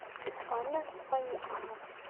анна фанисовна